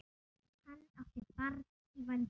Hann átti barn í vændum.